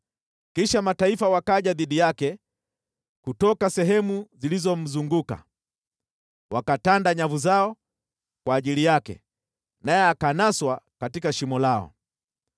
Kisha mataifa wakaja dhidi yake kutoka sehemu zilizomzunguka. Wakatanda nyavu zao kwa ajili yake, naye akanaswa katika shimo lao.